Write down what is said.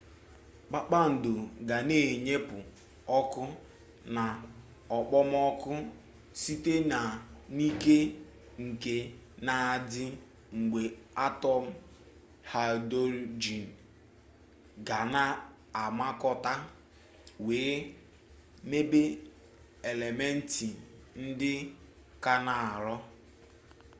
kpakpando ga na-enyepụ ọkụ na okpomọkụ site n'ike nke na-adị mgbe atọm haịdurojin ga na-amakọta wee mebe elementị ndị ka n'arọ